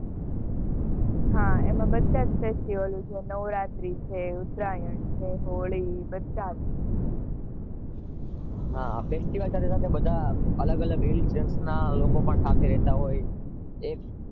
હા એમાં બધા જ ફેસ્ટિવલ હશે